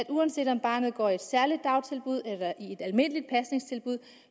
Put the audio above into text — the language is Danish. uanset om barnet går i et særligt dagtilbud eller i et almindeligt pasningstilbud